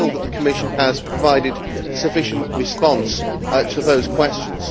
Do you feel that the Commission has provided a sufficient response to those questions?